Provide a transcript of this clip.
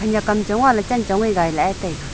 ya kamchong ngahley chanchong gailahe taiga.